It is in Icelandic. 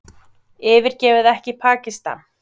Yfirgefi ekki Pakistan